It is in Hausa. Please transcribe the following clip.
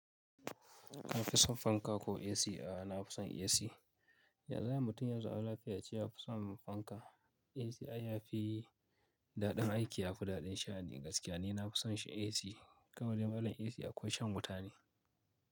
Ka fi son fanka ko AC a'a? Na fi son AC. Yaza ayi ace mutum yanzu a ce ya fi son fanka. AC ya fi daɗin aiki, ya fi daɗin sha'ani gaskiya ne. Na fi son shi AC kawadai dai malam AC akwai shan wuta ne.